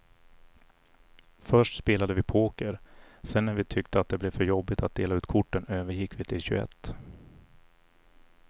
Först spelade vi poker, sedan när vi tyckte att det blev för jobbigt att dela ut korten övergick vi till tjugoett.